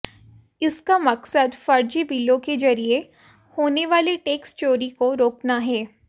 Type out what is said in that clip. इसका मकसद फर्जी बिलों के जरिए होने वाली टैक्स चोरी को रोकना है